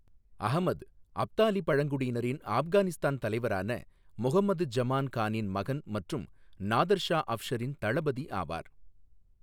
அஹ்மத், அப்தாலி பழங்குடியினரின் ஆஃப்கானிஸ்தான் தலைவரான முஹம்மது ஜமான் கானின் மகன் மற்றும் நாதர் ஷா அஃப்ஷரின் தளபதி ஆவார்.